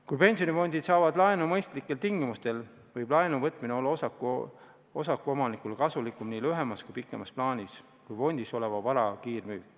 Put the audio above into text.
Kui pensionifondid saavad laenu mõistlikel tingimustel, võib laenuvõtmine olla osakuomanikele nii lühemas kui pikemas plaanis kasulikum kui fondis oleva vara kiirmüük.